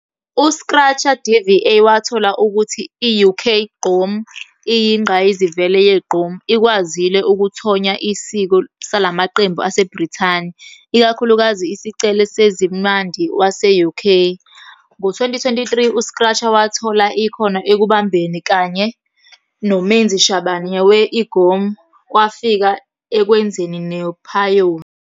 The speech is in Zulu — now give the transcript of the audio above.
U-Scratcha DVA wathola ukuthi i-UK Gqom iyinqayizivele ye-gqom, ikwazile ukuthonya isiko salamaqembu aseBrithani, ikakhulukazi isicelo sezimandi wase-UK. Ngo-2023, uScratcha wathola ikhono ekubambeni kanye noMenzi Shabane we-Igom, kwafika ekwenzeni nephayona.